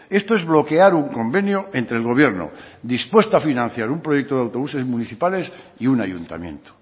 esto es bloquear un convenio entre el gobierno dispuesto a financiar un proyecto de autobuses municipales y un ayuntamiento